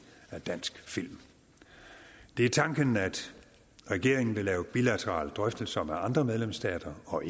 af dansk film det er tanken at regeringen vil lave bilaterale drøftelser med andre medlemsstater og